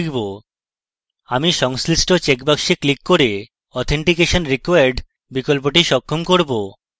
আমি সংশ্লিষ্ট checkbox বাক্সে ক্লিক করে authentication required বিকল্পটি সক্ষম করব